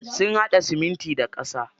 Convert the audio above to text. Sun haɗa siminti da ƙasa.